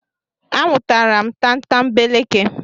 A nwụtara m tatambeleke.